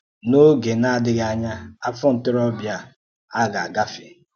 N’ógè na-adịghị̀ ányà, afọ̀ ntoróbịa á ga-agáfè.